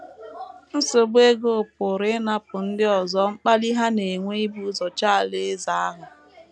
Nsogbu ego pụrụ ịnapụ ndị ọzọ mkpali ha na - enwe ibu ụzọ chọọ Alaeze ahụ.